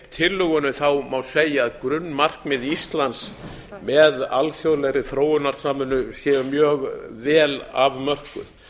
tillögunni má segja að grunnmarkmið íslands með alþjóðlegri þróunarsamvinnu sé mjög vel afmörkun